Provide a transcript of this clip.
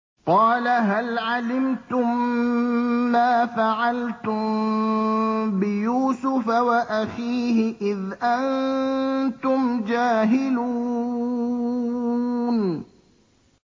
قَالَ هَلْ عَلِمْتُم مَّا فَعَلْتُم بِيُوسُفَ وَأَخِيهِ إِذْ أَنتُمْ جَاهِلُونَ